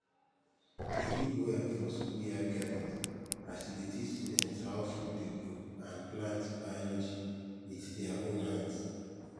e good well for schoolyard gardens as e dey teach students how food dey grow and plant biology with their own hand